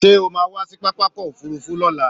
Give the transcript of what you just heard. Sé o máa wá sí pápákọ̀ òfurufú lọ́la?